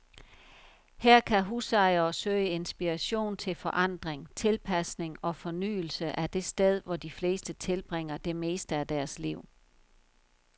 Her kan husejere søge inspiration til forandring, tilpasning og fornyelse af det sted, hvor de fleste tilbringer det meste af deres liv.